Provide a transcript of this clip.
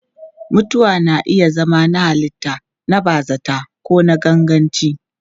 Mutuwa na iya zama na halitta, na bazata ko na ganganci.